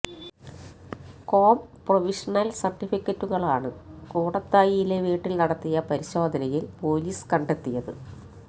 com provisional സർട്ടിഫിക്കറ്റുകളാണു കൂടത്തായിയിലെ വീട്ടിൽ നടത്തിയ പരിശോധനയിൽ പൊലീസ് കണ്ടെത്തിയത്